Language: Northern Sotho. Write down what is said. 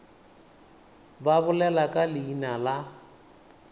ba bolele ka leina la